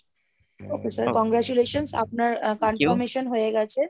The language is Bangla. okay sir congratulations আপনার confirmation হয়ে গেছে।